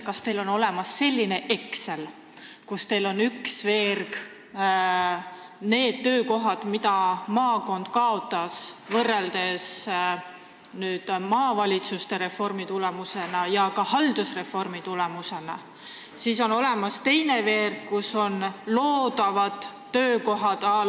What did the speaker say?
Kas teil on olemas selline Exceli tabel, kus on ühes veerus need töökohad, mille maakond kaotas maavalitsuste reformi ja ka haldusreformi tulemusena, ja teises veerus loodavad töökohad?